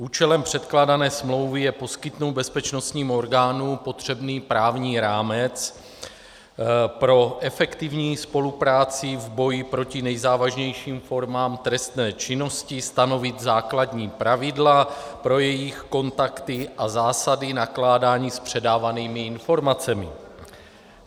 Účelem předkládané smlouvy je poskytnout bezpečnostním orgánům potřebný právní rámec pro efektivní spolupráci v boji proti nejzávažnějším formám trestné činnosti, stanovit základní pravidla pro jejich kontakty a zásady nakládání s předávanými informacemi.